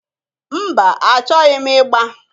Mba! Achọghị m ị gba.